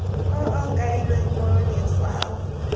o o kailweng mo letshwaong